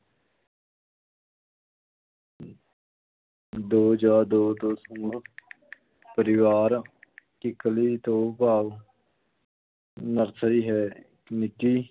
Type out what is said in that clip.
ਦੋ ਜਾਂ ਦੋ ਤੋਂ ਸਮੂਹ ਪਰਿਵਾਰ ਕਿੱਕਲੀ ਤੋਂ ਭਾਵ ਨਰਸਰੀ ਹੈ, ਨਿੱਕੀ